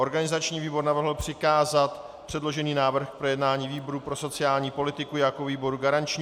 Organizační výbor navrhl přikázat předložený návrh k projednání výboru pro sociální politiku jako výboru garančnímu.